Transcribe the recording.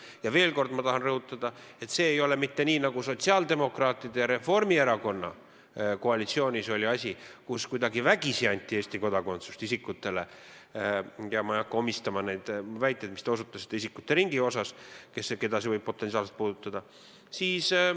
Ja veel kord tahan ma rõhutada, et see ei ole nii, nagu sotsiaaldemokraatide ja Reformierakonna koalitsioonis oli, kui Eesti kodakondsus anti isikutele kuidagi vägisi – ja ma ei hakka omistama neid väiteid, millele te osutasite seoses isikute ringiga, keda see võib potentsiaalselt puudutada.